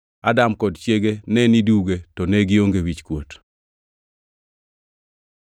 Adam kod chiege ne niduge, to ne gionge wichkuot.